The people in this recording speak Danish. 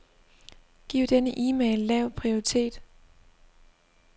Giv denne e-mail lav prioritet.